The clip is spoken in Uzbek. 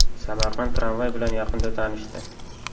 Samarqand tramvay bilan yaqinda tanishdi.